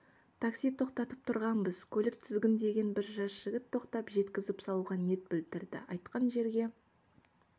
такси тоқтатып тұрғанбыз көлік тізгіндеген бір жас жігіт тоқтап жеткізіп салуға ниет білдірді айтқан жерге